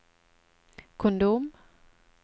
kondom